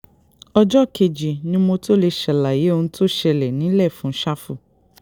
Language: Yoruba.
ọjọ́ kejì ni mo tóó lè ṣàlàyé ohun tó ṣẹlẹ̀ nílẹ̀ fún ṣáfù